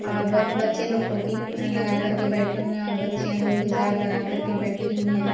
और बहुत बच्चे लोग टोपी लगा कर के बैठे हुए और बच्चियाँ लोग हिज़ाब लगा कर के बैठी हुई है।